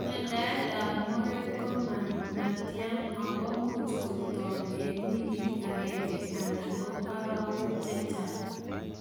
Mandaet ap moet komatatyaa akomuuch kotak eng wikit agenge anan ko arawek chechang.